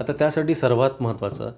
आता त्यासाठी सर्वात महत्वाचे